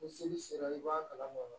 Ni seli sera i b'a kalama